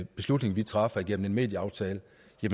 beslutning vi traf gennem en medieaftale